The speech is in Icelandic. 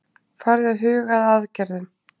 Farið að huga að aðgerðum